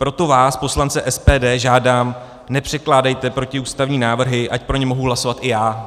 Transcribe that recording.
Proto vás, poslance SPD, žádám, nepředkládejte protiústavní návrhy, ať pro ně mohu hlasovat i já.